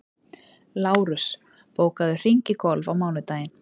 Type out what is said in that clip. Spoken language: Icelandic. Lárus, bókaðu hring í golf á mánudaginn.